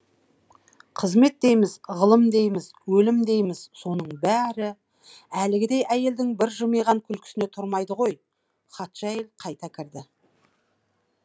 қызмет дейміз ғылым дейміз өлім дейміз соның бәрі әлгідей әйелдің бір жымиған күлкісіне тұрмайды ғой хатшы әйел қайта кірді